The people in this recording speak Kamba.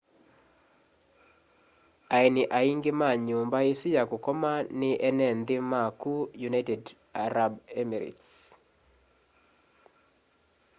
aeni aingi ma nyumba isu ya kukoma ni ene nthi ma ku united arab emirates